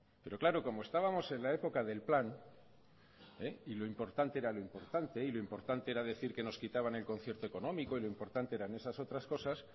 pero claro como estábamos en la época del plan y lo importante era lo importante y lo importante era decir que nos quitaban el concierto económico y lo importante eran esas otras cosas